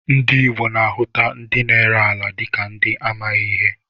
Ndị Igbo na-ahuta ndị na-ere ala dịka ndị amaghị ihe